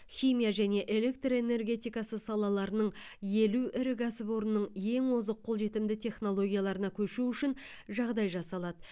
химия және электр энергетикасы салаларының елу ірі кәсіпорнының ең озық қолжетімді технологияларына көшу үшін жағдай жасалады